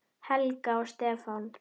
Helga og Stefán.